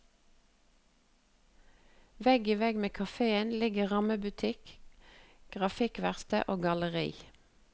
Vegg i vegg med kaféen ligger rammebutikk, grafikkverksted og galleri.